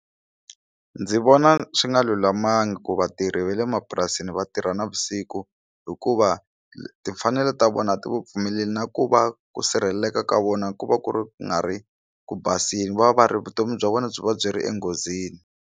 Ndzi vona swi nga lulamangi ku vatirhi va le mapurasini va tirha navusiku hikuva timfanelo ta vona ti va pfumeleli na ku va ku sirheleleka ka vona ku va ku ri ku nga ri ku basile va ri vutomi bya vona byi va byi ri enghozini.